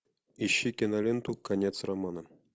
ищи киноленту конец романа